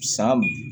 San